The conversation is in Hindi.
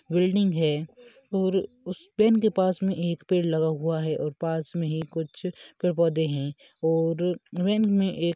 बिल्डिंग है और उस वेन के पास मैं एक पेड़ लगा हुआ है और पास मैं ही कुछ पेड़ पौधे है और वेन मैं एक--